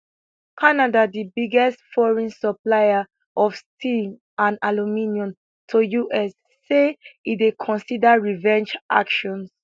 canada di biggest foreign supplier of steel and aluminium to us say e dey consider revenge actions